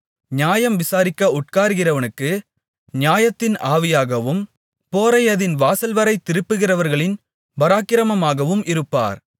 நியாயம் விசாரிக்க உட்காருகிறவனுக்கு நியாயத்தின் ஆவியாகவும் போரை அதின் வாசல்வரை திருப்புகிறவர்களின் பராக்கிரமமாகவும் இருப்பார்